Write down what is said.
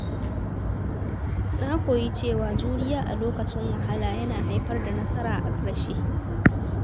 Na koyi cewa juriya a lokacin wahala yana haifar da nasara a ƙarshe.